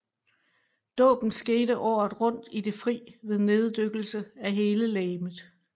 Dåben skete året rundt i det fri ved neddykkelse af hele legemet